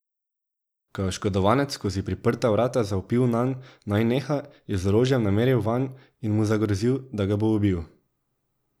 Ko je oškodovanec skozi priprta vrata zavpil nanj, naj neha, je z orožjem nameril vanj in mu zagrozil, da ga bo ubil.